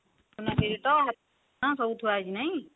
ସୁନା କିରୀଟ ସବୁ ଥୁଆ ହୋଉଛି ନାଇଁ